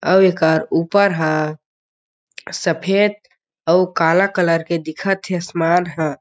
आउ एकर ऊपर ह सफ़ेद अउ काला कलर के दिखत हे आसमान ह।